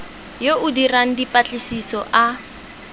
yo o dirang dipatlisiso a